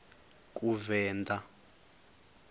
kuvenḓa